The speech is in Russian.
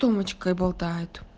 томочкой болтает